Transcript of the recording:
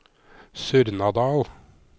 Surnadal